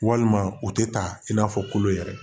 Walima o tɛ ta in n'a fɔ kolo yɛrɛ